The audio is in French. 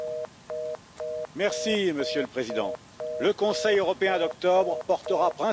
Monsieur le Président, le Conseil européen d'octobre portera principalement sur les migrations.